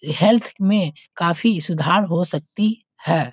Health में काफी सुधार हो सकती है।